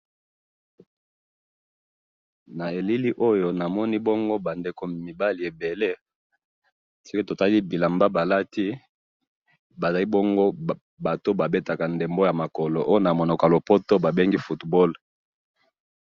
Na elili oyo namoni bongo, bandeko mibali ebele, soki totali bilamba balati, bazalibongo batu oyo babetaka ndembo yamakolo, oyo namunoko yalopoto babengi football